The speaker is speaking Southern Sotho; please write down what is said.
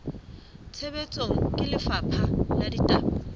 tshebetsong ke lefapha la ditaba